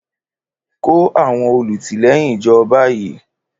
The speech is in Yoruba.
Kó àwọn olùtìlẹ́yìn jọ báyìí!